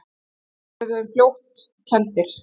Við urðum fljótt kenndir.